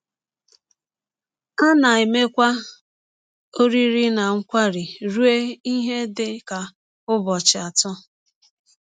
A na - emekwa ọrịrị na nkwari rụọ ihe dị ka ụbọchị atọ.